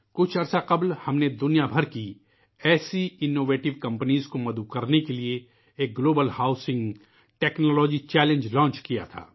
کچھ وقت پہلے ہم نے دنیا بھر کی ایسی اختراعی کمپنیوں کو مدعو کرنے کے لئے ایک عالمی ہاؤسنگ ٹیکنالوجی چیلنج لانچ کیا تھا